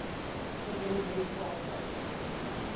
president jimmy carter